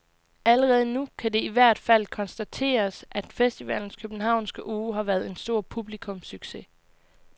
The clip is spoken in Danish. Allerede nu kan det i hvert fald konstateres, at festivalens københavnske uge har været en stor publikumssucces.